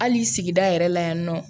Hali sigida yɛrɛ la yan nɔ